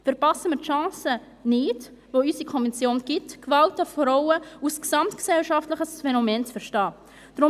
Verpassen wir die Chance nicht, weil unsere Konvention Gewalt an Frauen als gesamtgesellschaftliches Phänomen zu verstehen gibt.